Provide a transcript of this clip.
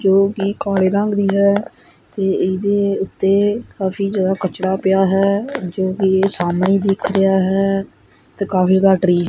ਜੋ ਕਿ ਕਾਲੇ ਰੰਗ ਦੀ ਹੈ ਤੇ ਇਹਦੇ ਉੱਤੇ ਕਾਫੀ ਜਿਆਦਾ ਕਚੜਾ ਪਿਆ ਹੈ ਜੋ ਕਿ ਸਾਹਮਣੇ ਦਿਖ ਰਿਹਾ ਹੈ ਤੇ ਕਾਗਜ ਦਾ ਟਰੀ --